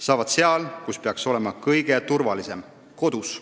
Saavad seal, kus peaks olema kõige turvalisem: kodus.